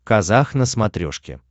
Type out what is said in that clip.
казах на смотрешке